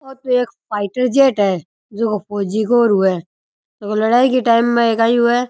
ओ तो एक फाइटर जेट हुवे जको फौजी को र हुवे जो की लड़ाई के टाइम में काई हुवे।